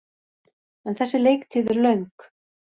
En þessi leiktíð er löng.